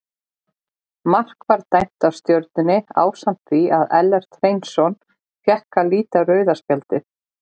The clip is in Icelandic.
Mark var dæmt af Stjörnunni ásamt því að Ellert Hreinsson fékk að líta rauða spjaldið.